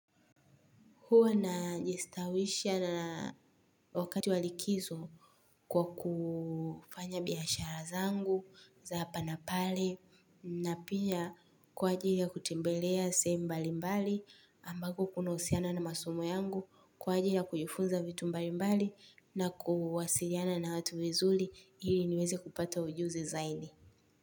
Huwa na jistawisha na wakati walikizo kwa kufanya biashara zangu za hapa na pale na pia kwa ajili ya kutembelea sehemu mbali mbali ambako kuna husiana na masomo yangu kwa ajili ya kujifunza vitu mbali mbali na kuwasiliana na watu vizuli hili niweze kupata ujuzi zaidi.